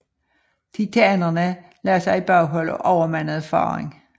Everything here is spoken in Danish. Titanerne lagde sig i baghold og overmandede faderen